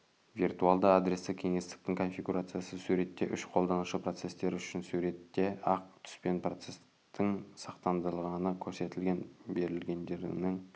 виртуалды адрестік кеңістіктің конфигурациясы суретте үш қолданушы процестер үшін суретте ақ түспен процестің сақтандырылғаны көрсетілген берілгендерінің